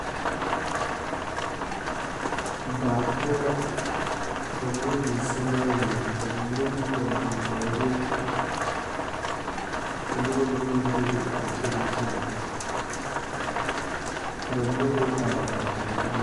Daa poɔ la ka ba mine biŋ seremaanii ka ba mine meŋ naŋ biŋ bɔɔdeɛ ka noba mine meŋ bebe a kyɛnɛ kyɛnɛ ka ba mine meŋ are are ka ba me.